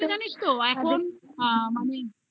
আর একটু জানিস তো. এখন আ মানে .